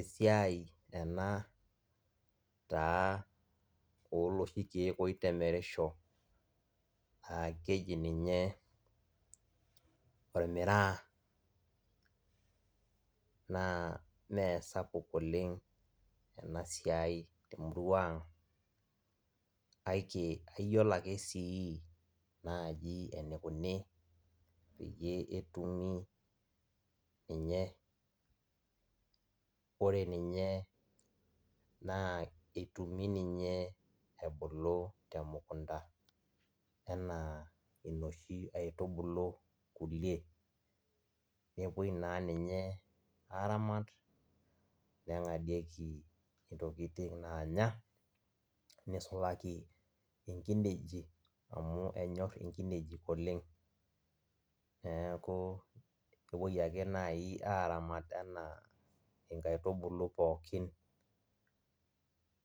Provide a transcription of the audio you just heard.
Esiai ena na oloshi kiek oiremisho oji ormiraa na meesapuk oleng enasiai temurua ang kake ayiolo naibake enikunu peyie etumi ninye, ore ninye na etumi ninye ebulu temukunda ana enoshi aitubulu kulie, nepuoi aramat nengadieki ntokitin nanya nisulaki nkinejik amu enyor nkinejik oleng, neaku kepuoi nai ake apuo aramat ana nkaitubulu pookin